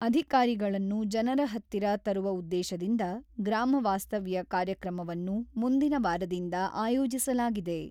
ಅಧಿಕಾರಿಗಳನ್ನು ಜನರ ಹತ್ತಿರ ತರುವ ಉದ್ದೇಶದಿಂದ ಗ್ರಾಮ ವಾಸ್ತವ್ಯ ಕಾರ್ಯಕ್ರಮವನ್ನು ಮುಂದಿನ ವಾರದಿಂದ ಆಯೋಜಿಸಲಾಗಿದೆ.